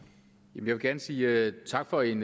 jeg vil gerne sige tak for en